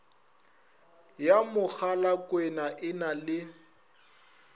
ya mogalakwena e na le